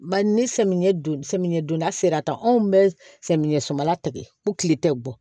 Bari ni samiyɛ don sɛmɛnna sera tan anw bɛ samiyɛ sobala tɛgɛ ko tile tɛ bɔ